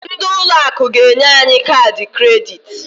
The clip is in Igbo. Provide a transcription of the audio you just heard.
Ndị ụlọ akụ ga-enye anyị kaadị kredit.